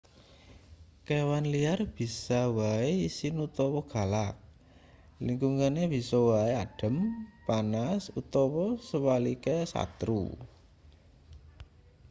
kewan liar bisa wae isin utawa galak lingkungane bisa wae adhem panas utawa suwalike satru